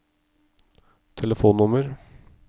telefonnummer